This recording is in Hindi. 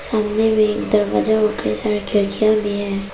सामने में एक दरवाजा और कई सारी खिड़कियां भी हैं।